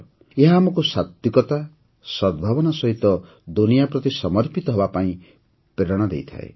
ଏହା ଆମକୁ ସାତ୍ୱିକତା ସଦ୍ଭାବନା ସହିତ ଦୁନିଆ ପ୍ରତି ସମର୍ପିତ ହେବାପାଇଁ ମଧ୍ୟ ପ୍ରେରଣା ଦେଇଥାଏ